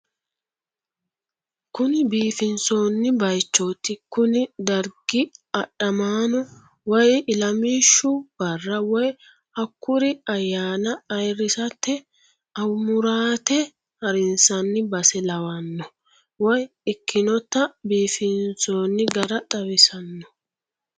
Kuni biifinsoonni baaychooti kuni dargi adhamaano woy ilamishshu barra woy hakkuri ayyaana ayiirrisate amuraate harinsanni base lawanno woy ikkinota biifinsoonni gari xawisanno.